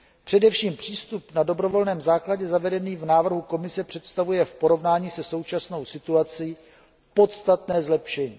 Především přístup na dobrovolném základě, zavedený v návrhu Komise, představuje v porovnání se současnou situací podstatné zlepšení.